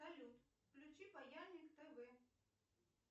салют включи паяльник тв